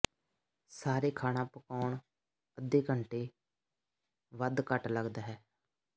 ਸਾਰੇ ਖਾਣਾ ਪਕਾਉਣ ਅੱਧੇ ਘੰਟੇ ਵੱਧ ਘੱਟ ਲੱਗਦਾ ਹੈ